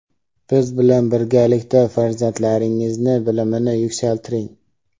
biz bilan birgalikda farzandlaringizni bilimini yuksaltiring.